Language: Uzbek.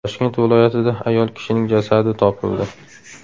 Toshkent viloyatida ayol kishining jasadi topildi.